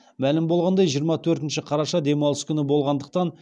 мәлім болғандай жиырма төртінші қараша демалыс күні болғандықтан